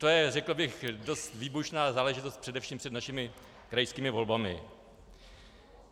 To je, řekl bych, dost výbušná záležitost především před našimi krajskými volbami.